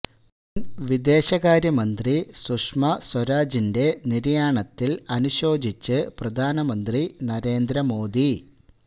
മുന് വിദേശകാര്യ മന്ത്രി സുഷമ സ്വരാജിന്റെ നിര്യാണത്തില് അനുശോചിച്ച് പ്രധാനമന്ത്രി നരേന്ദ്ര മോദി